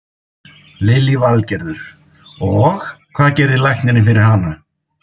Lillý Valgerður: Og, hvað gerði læknirinn fyrir hana?